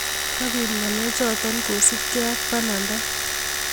Kapit ngalechoto kosupkey ak pananda